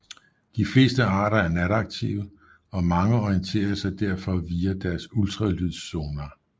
De fleste arter er nataktive og mange orienterer sig derfor via deres ultralydssonar